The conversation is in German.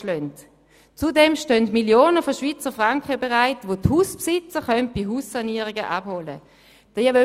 Ausserdem stehen Millionen von Schweizer Franken bereit, welche die Hauseigentümer bei Haussanierungen abholen können.